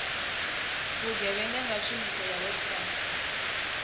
vhugevhenga nga tshumiso ya website